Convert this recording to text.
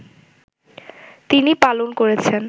তিনি পালন করেছেন